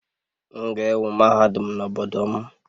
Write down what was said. M ga-ewu mahadum n'obodo m